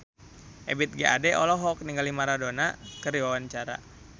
Ebith G. Ade olohok ningali Maradona keur diwawancara